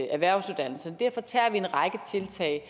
erhvervsuddannelserne derfor tager vi en række tiltag